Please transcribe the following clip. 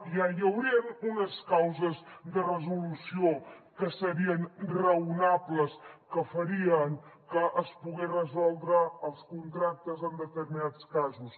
ja hi haurien unes causes de resolució que serien raonables que farien que es poguessin resoldre els contractes en determinats casos